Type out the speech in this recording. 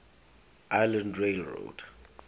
island rail road